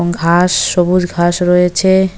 ঘাস সবুজ ঘাস রয়েছে।